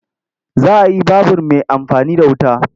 Za a yi babur mai amfani da wuta.